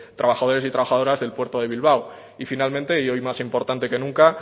trabajadores y trabajadoras del puerto de bilbao y finalmente y hoy más importante que nunca